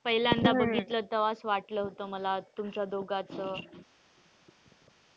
पहिल्यांदा बघितलं तेव्हा असं वाटलं होत मला तुमच्या दोघंच,